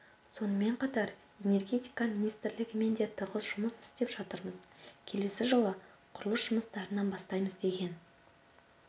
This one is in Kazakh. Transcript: сонымен қатар энергетика министрлігімен де тығыз жұмыс істеп жатырмыз келесі жылы құрылыс жұмыстарын бастаймыз деген